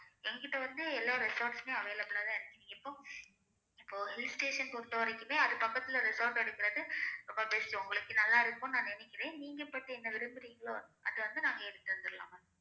எங்க கிட்ட வந்து எல்லா resorts மே available ஆ தான் இருக்கு நீங்க எப்ப இப்ப hill station பொருத்தவரைக்குமே அதுக்கு பக்கத்துல resort எடுக்குறது ரொம்ப best ஒங்களுக்கு நல்லா இருக்கும் நா நெனைக்குறேன் நீங்க but என்ன விரும்புரிங்களோ அது வந்து நாங்க எடுத்து தந்திரலாம் ma'am